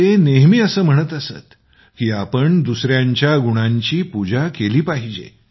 ते नेहमी असं म्हणत की कुणीही दुसऱ्यांच्या गुणांची पूजा केली पाहिजे